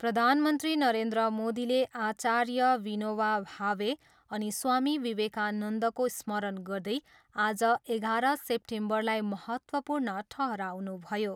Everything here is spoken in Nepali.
प्रधानमन्त्री नरेन्द्र मोदीले आचार्य विनोवा भावे अनि स्वामी विवेकानन्दको स्मरण गर्दै आज एघार सेप्टेम्बरलाई महत्त्वपूर्ण ठहराउनुभयो।